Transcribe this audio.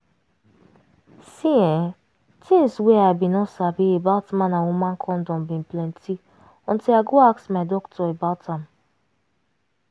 see[um]tins wey i bin no sabi about man and woman condom bin plenty until i go dey ask my doctor about am